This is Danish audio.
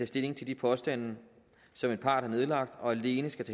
stilling til de påstande som en part har nedlagt og alene skal